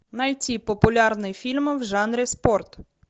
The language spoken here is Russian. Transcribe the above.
найти популярные фильмы в жанре спорт